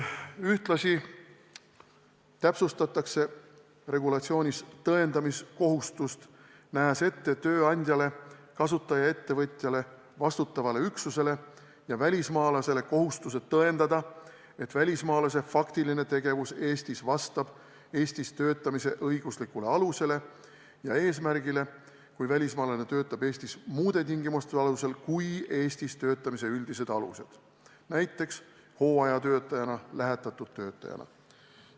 Ühtlasi täpsustatakse regulatsioonis tõendamiskohustust, nähes ette tööandjale, kasutajaettevõtjale, vastutavale üksusele ja välismaalasele kohustuse tõendada, et välismaalase faktiline tegevus Eestis vastab Eestis töötamise õiguslikule alusele ja eesmärgile, kui välismaalane töötab Eestis muude tingimuste alusel kui Eestis töötamise üldised alused, näiteks hooajatöötajana või lähetatud töötajana.